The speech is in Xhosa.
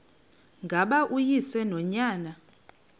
ngaba uyise nonyana